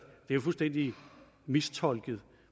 jo fuldstændig mistolket